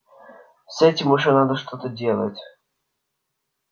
с этим уже надо что-то делать